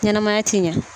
Ɲɛnɛmaya ti ɲɛ